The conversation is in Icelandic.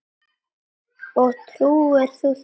Og trúir þú þessu?